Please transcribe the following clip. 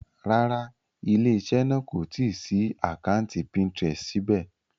Rárá, ilé-iṣẹ́ náà kò tí ì ṣí àkátì Pinterest síbẹ̀.